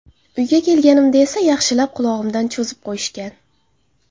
Uyga kelganimda esa yaxshilab qulog‘imdan cho‘zib qo‘yishgan.